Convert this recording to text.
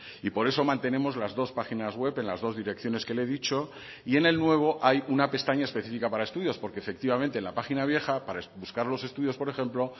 y por eso mantenemos las dos páginas web en las dos direcciones que le he dicho y en el nuevo hay una pestaña específica para estudios porque efectivamente en la página vieja para buscar los estudios por ejemplo